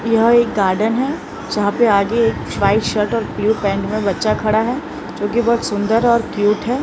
यह एक गार्डन है जहां पे आगे एक व्हाइट शर्ट और ब्लू पेंट में बच्चा खड़ा है जो की बहुत सुंदर और क्यूट है।